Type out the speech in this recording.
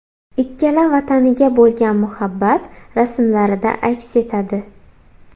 Ikkala vataniga bo‘lgan muhabbat rasmlarida aks etadi.